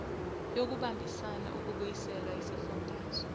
yokubambisana ukubuyisela isifundazwe